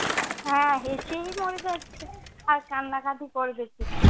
হ্যাঁ, হেসেই মরে যাচ্ছে, আর কান্নাকাটি করবে কি!